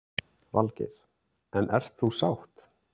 Valgeir: En ert þú sátt?